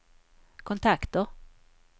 kontakter